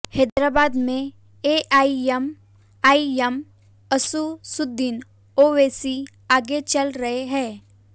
हैदराबाद में एआईएमआईएम असदुद्दीन ओवैसी आगे चल रहे हैं